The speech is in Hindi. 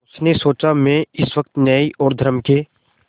उसने सोचा मैं इस वक्त न्याय और धर्म के